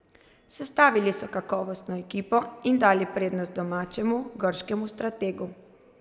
Sestavili so kakovostno ekipo in dali prednost domačemu, grškemu strategu.